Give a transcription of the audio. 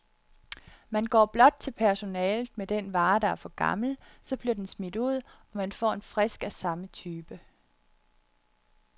Man går blot til personalet med den vare, der er for gammel, så bliver den smidt ud, og man får en frisk af samme type.